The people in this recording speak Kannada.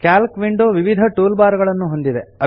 ಕ್ಯಾಲ್ಕ್ ವಿಂಡೋ ವಿವಿಧ ಟೂಲ್ ಬಾರ್ ಗಳನ್ನು ಹೊಂದಿದೆ